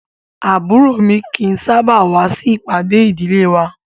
Àbúrò mi kì í sábà wá sí ìpàdé ìdílé wa